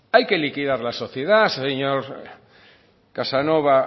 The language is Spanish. hay que liquidar la sociedad señor casanova